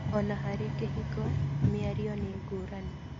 ona harĩ kĩhiko, mĩario nĩ ngũrani